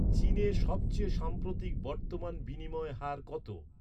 চীনে সবচেয়ে সাম্প্রতিক বর্তমান বিনিময় হার কত